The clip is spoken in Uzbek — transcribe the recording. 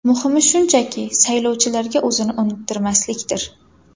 Muhimi shunchaki, saylovchilarga o‘zini unuttirmaslikdir.